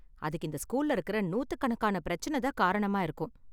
அதுக்கு இந்த ஸ்கூல்ல இருக்குற நூத்துக்கணக்கான பிரச்சன தான் காரணமா இருக்கும்.